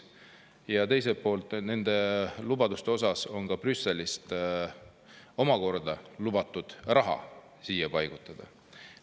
Ja teiselt poolt nende lubaduste osas on ka Brüsselist omakorda lubatud raha siia paigutada.